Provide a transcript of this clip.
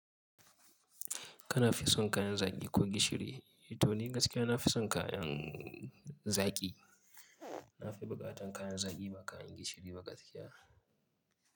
Kana fi son kayan zaƙi ko gishiri? To ni gaskiya na fi son kayan zaƙi. Na fi buƙatar kayan zaƙi ba kayan gishiri ba gaskiya.